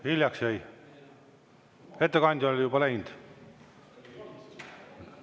Hiljaks jäi, ettekandja oli juba läinud.